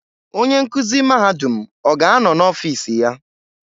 Onye nkuzi mahadum ọ ga-anọ n'ọfiis iya?